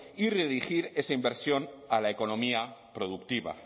y redirigir esa inversión a la economía productiva